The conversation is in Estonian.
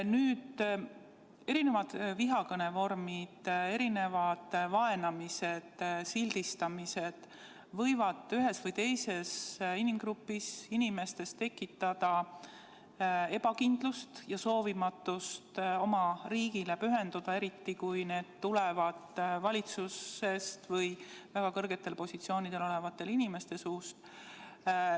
Nüüd, erinevad vihakõnevormid, erinevad vaenamised, sildistamised võivad ühes või teises inimgrupis tekitada ebakindlust ja soovimatust oma riigile pühenduda, eriti kui need tulevad valitsusest või väga kõrgetel positsioonidel olevate inimeste suust.